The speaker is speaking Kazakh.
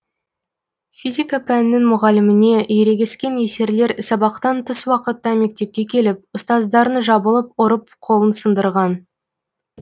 физика пәнінің мұғаліміне ерегескен есерлер сабақтан тыс уақытта мектепке келіп ұстаздарын жабылып ұрып қолын сындырған